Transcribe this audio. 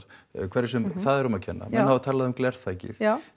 hverjum sem það er um að kenna menn hafa talað um glerþakið